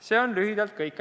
See on lühidalt kõik.